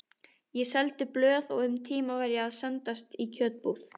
Ég seldi blöð og um tíma var ég að sendast í kjötbúð.